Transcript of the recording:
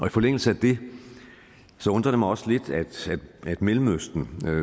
i forlængelse af det undrer det mig også lidt at mellemøsten